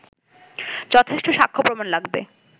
যথেষ্ট সাক্ষ্য প্রমাণ লাগবে